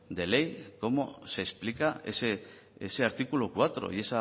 de ley cómo se explica ese artículo cuatro y